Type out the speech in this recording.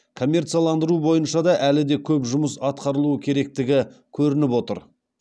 коммерцияландыру бойынша да әлі де көп жұмыс атқарылуы керектігі көрініп отыр